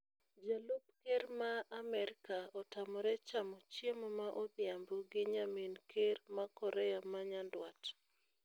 Jalup Kerr ma Amerika otamore chamo chiemo ma odhiambo gi nyamin Kerr ma Korea ma nyanduat